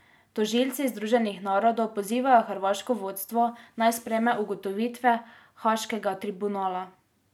Tožilci Združenih narodov pozivajo hrvaško vodstvo, naj sprejme ugotovitve haaškega tribunala.